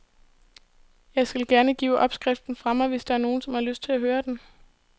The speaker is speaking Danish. Jeg skal gerne give opskriften fra mig, hvis der er nogen, som har lyst at høre den.